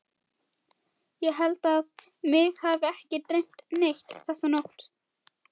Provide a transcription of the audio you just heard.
Ég held að mig hafi ekki dreymt neitt þessa nótt.